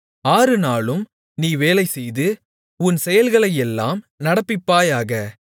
ஆறு நாளும் நீ வேலைசெய்து உன் செயல்களையெல்லாம் நடப்பிப்பாயாக